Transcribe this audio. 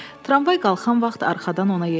Tramvay qalxan vaxt arxadan ona yetişdi.